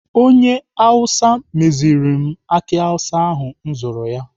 Onye Awụsa meziri m aki awụsa ahụ m zụrụ ya.